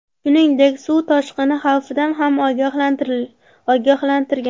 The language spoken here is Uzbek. Shuningdek, suv toshqini xavfidan ham ogohlantirgan.